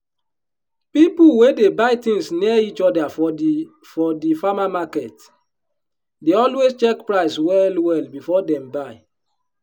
people wey dey buy things near each other for the for the farmer market dey always check price well well before dem buy.